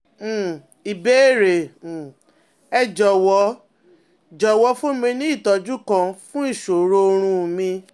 um Ìbéèrè: um Ẹ jọ̀wọ́, jọ̀wọ́ fún mi ní ìtọ́jú kan fún ìṣòro oorun mi